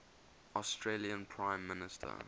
australian prime minister